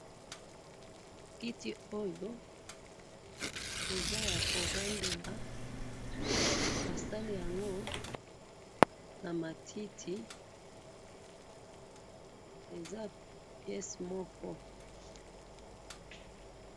Namoni kiti moko basali na matiti.